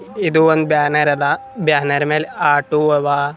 ಇದು ಒಂದು ಬ್ಯಾನರ್ ಅದ ಬ್ಯಾನರ್ ಮೇಲೆ ಆಟೋ ಅವ.